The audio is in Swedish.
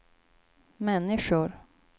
människor